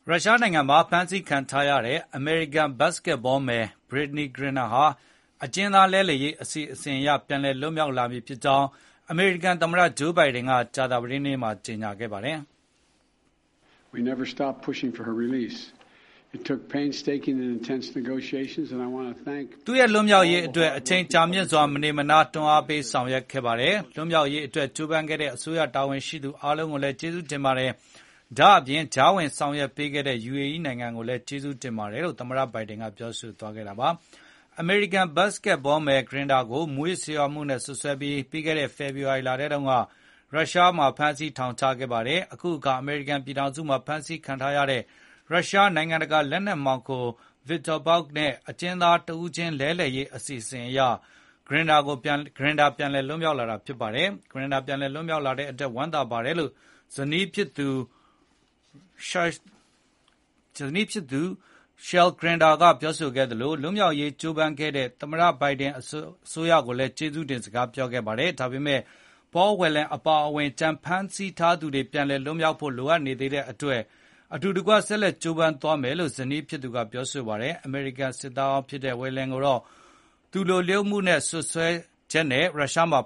ရုရှားနိုင်ငံမှာ ဖမ်းဆီးခံထားရတဲ့ အမေရိကန် ဘတ်စကက်ဘောမယ် Brittney Griner ဟာ အကျဉ်းသားလဲလှယ်ရေး အစီအစဉ်အရ ပြန်လည်လွတ်မြောက် လာပြီဖြစ်ကြောင်း အမေရိကန်သမ္မတ Joe Biden က ကြာသပတေးနေ့က ကြေညာခဲ့ပါတယ်။ “ သူ့ရဲ့လွတ်မြောက်ရေးအတွက် အချိန်ကြာမြင့်စွာ မနေမနား တွန်းအားပေး ဆောင်ရွက်ခဲ့ပါတယ်။ လွတ်မြောက်ရေးအတွက် ကြိုးပမ်းခဲ့တဲ့ အစိုးရတာဝန်ရှိသူ အားလုံးလည်း ကျေးဇူးတင်ပါတယ်။ ဒါ့အပြင် ကြားဝင်ဆောင်ရွက်ပေးခဲ့တဲ့ UAE နိုင်ငံကိုလည်း ကျေးဇူးတင်ပါတယ်” လို့ သမ္မတ က ပြောပါတယ် ။ အမေရိကန် ဘတ်စကက်ဘောမယ် Griner ကို မူးယစ်ဆေးဝါးမှုနဲ့ စွပ်စွဲပြီး၊ ပြီးခဲ့တဲ့ ဖေဖေါ်ဝါရီ လထဲ က ရုရှားမှ ာဖမ်းဆီးထောင်ချခဲ့ပါတယ်။ အခုအခါ အမေရိကန် ပြည်ထောင်စု မှာ ဖမ်းဆီးခံထားရတဲ့ ရုရှားနိုင်ငံတကာ လက်နက်မှောင်ခို Viktor Bout နဲ့ အကျဉ်းသား တဦးချင်း လဲလှယ်ရေး အစီအရ Griner ပြန်လည် လွတ်မြောက်လာတာ ဖြစ်ပါတယ်။ Griner ပြန်လည် လွတ်မြောက်လာတဲ့အတွက် ဝမ်းသာပါတယ်လို့ ဇနီးသည်ဖြစ်သူ Cherelle Griner က ပြောဆိုခဲ့သလို၊ လွတ်မြောက်ရေး ကြိုးပမ်းခဲ့ကြတဲ့ သမ္မတ Joe Biden အစိုးရကိုလည်း ကျေးဇူးတင်စကား ပြောခဲ့တာပါ။။ ဒါပေမဲ့ Paul Whelan အပါအဝင် ကျန်ဖမ်းဆီးထားသူတွေ ပြန်လည် လွတ်မြောက်ဖို့ လိုအပ်နေသေးတဲ့အတွက် အတူတကွ ဆက်လက်ကြိုးပမ်းသွားမယ်လို့ ဇနီးဖြစ်သူ Cherelle Griner ကပြောဆိုပါတယ်။ အမေရိကန် စစ်သားဟောင်းဖြစ်တဲ့ Whelan ကိုတော့ သူလျိုလုပ်တယ်ဆိုတဲ့ စွပ်စွဲချက်နဲ့ ရုရှားမှာ